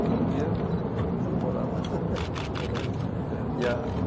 E um dia fui morar lá. Bacana. É. E a